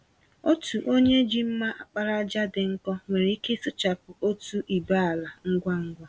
Otu onye ji mma àkpàràjà dị nkọ nwere ike ịsụchapụ otú ibé ala ngwa ngwa.